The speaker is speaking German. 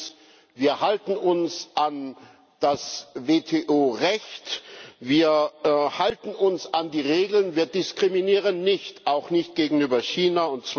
Erstens Wir halten uns an das WTO Recht, wir halten uns an die Regeln, wir diskriminieren nicht auch nicht gegenüber China.